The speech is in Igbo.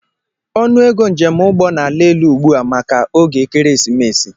Ọnụego njemụgbọ na-ala elu ugbu a maka oge ekeresimesi